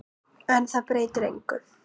En það breytir engu.